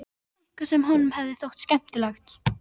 Eitthvað sem honum hefði þótt skemmtilegt.